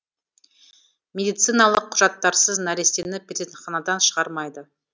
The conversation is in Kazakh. медициналық құжаттарсыз нәрестені перзентханадан шығармайды